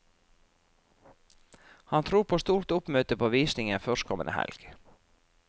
Han tror på stort oppmøte på visningen førstkommende helg.